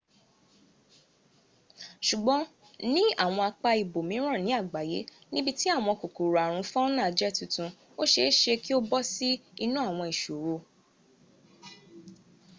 sùgbọ́n ní àwọn apá ibòmíràn ní àgbáyé níbi tí àwọn kòkòrò àrùn fauna jẹ́ titun ó seése kí o bọ́sí inú àwọn ìṣòro